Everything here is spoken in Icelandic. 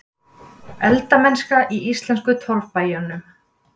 Eldamennska í íslensku torfbæjunum.